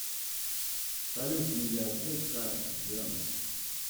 салют медиатека джем